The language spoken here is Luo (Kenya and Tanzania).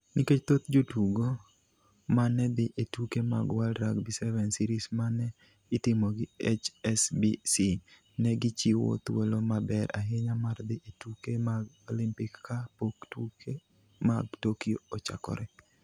Nikech thoth jotugo ma ne dhi e tuke mag World Rugby Sevens Series ma ne itimo gi HSBC, ne gichiwo thuolo maber ahinya mar dhi e tuke mag Olimpik ka pok tuke mag Tokyo ochakore.